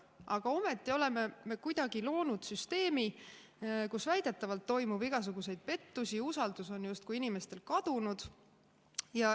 Aga ometi oleme me kuidagi loonud süsteemi, kus väidetavalt toimub igasuguseid pettusi, usaldus on inimestel justkui kadunud.